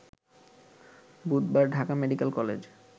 বুধবার Dhaka medical college